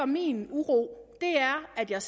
min uro er at jeg